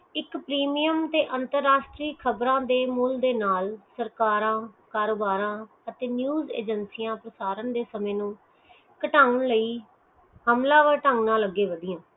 ਇਕ premium ਅਤੇ ਅੰਤਰਾਸ਼੍ਟ੍ਰੀਯ ਖ਼ਬਰਾਂ ਦੇ ਮੂਲ ਦੇ ਨਾਲ ਸਰਕਾਰ ਕਾਰੋਬਾਰ ਅਤੇ ਚੀਜ਼ ਅਜੇਂਸੀਇਆ ਫਾਸਰਨ ਦੇ ਸਮੇ ਨੂੰ ਕਤਾਓ ਲਈ ਹਮਲਾ ਵਾਰ ਤਾਂ ਨਾ ਲੱਗਿਆ ਹੋਇਆਂ